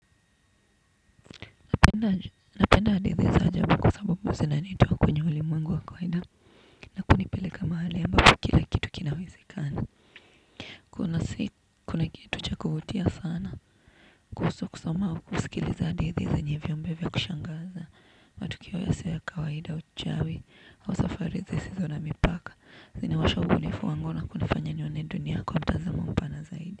Penda napenda hadithi za ajabu kwa sababu zinanitoa kwenye ulimwengu wa kawaida. Na kunipeleka mahali ambapo kila kitu kinawezekana. Kuna kitu cha kuvutia sana. Kuhusu kusoma au kusikiliza hadithi zenye viumbe vya kushangaza matukio yasio ya kwaida uchawi au safari zisizo na mipaka zinawasha ubunifu wangu na kunifanya nione dunia kwa mtazamo mpana zaidi.